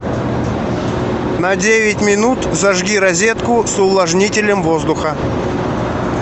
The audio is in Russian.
на девять минут зажги розетку с увлажнителем воздуха